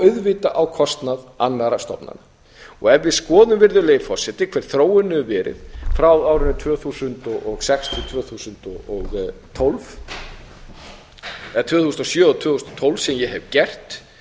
auðvitað á kostnað annarra stofnana ef við skoðum virðulegi forseti hver þróunin hefur verið frá árinu tvö þúsund og sex til tvö þúsund og tólf eða tvö þúsund og sjö til tvö þúsund og tólf sem ég hef gert